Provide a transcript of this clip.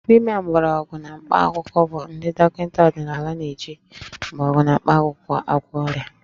Dibịa mgbọrọgwụ na mkpaakwụkwọ bụ ndị dọkịta ọdịnala na-eji mgbọrọgwụ na mkpakwụkwọ agwọ ọrịa